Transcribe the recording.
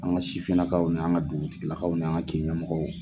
An ka sifininakaw, na an ka dugutigilakaw, na an ka kin ɲɛmɔgɔw.